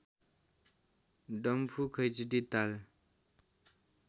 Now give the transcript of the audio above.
डम्फु खैँचडी ताल